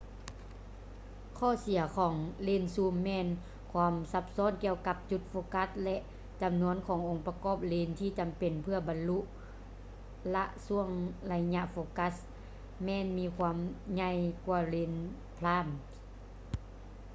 ຂໍ້ເສຍຂອງເລນຊູມ ແມ່ນຄວາມຊັບຊ້ອນກ່ຽວກັບຈຸດໂຟກັສ ແລະ ຈຳນວນຂອງອົງປະກອບເລນທີ່ຈຳເປັນເພື່ອບັນລຸລະຊ່ວງໄລຍະໂຟກັສແມ່ນມີຄວາມໃຫ່ຍກ່ວາເລນໄພຼມ໌ prime